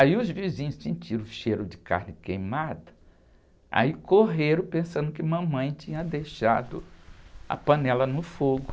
Aí os vizinhos sentiram o cheiro de carne queimada, aí correram pensando que mamãe tinha deixado a panela no fogo.